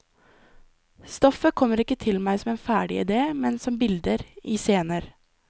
Stoffet kommer ikke til meg som ferdig idé, men som bilder, i scener.